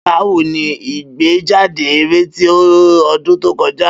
Bawo ni igbejade eré ti ọdun to kọja?